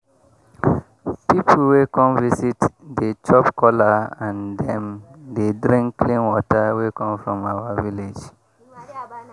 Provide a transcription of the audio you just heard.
pipu wey come visit dey chop kola and dem dey drink clean water wey come from our village